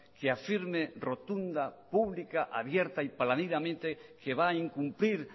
que afirme rotunda pública abierta y paladinamente que va a incumplir